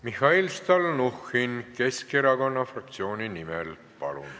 Mihhail Stalnuhhin Keskerakonna fraktsiooni nimel, palun!